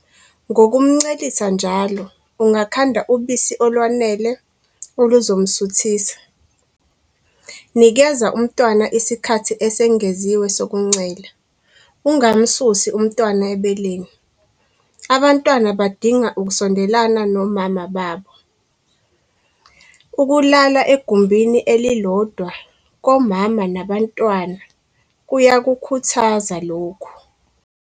Ngokumncelisa njalo, ungakhanda obisi olwanele oluzomsuthisa. Nikeza umntwana isikhathi esengeziwe sokuncela - ungamsusi umntwana ebeleni. Abantwana badinga ukusondelana nomama babo. Ukulala egumbini elilodwa komama nabantwana kuyakukhuthaza lokhu.